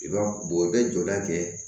I b'a bɔ i bɛ jɔda kɛ